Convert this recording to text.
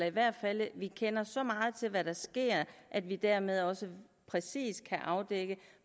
i hvert fald kender så meget til det der sker at vi dermed også præcis kan afdække